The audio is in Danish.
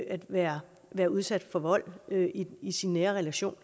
at være være udsat for vold i sin nære relation